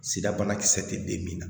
Sirabanakisɛ tɛ den min na